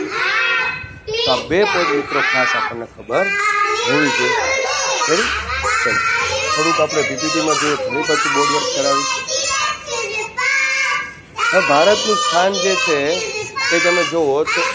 તો આ બે point મિત્રો આપણને ખાસ ખબર હોવી જોઈએ Ready ચલો થોડુંક આપણે PPT માં જોઈએ ફરી પાછું Board work કરાવીશ હવે ભારતનું સ્થાન જે છે એ તમે જોવો તો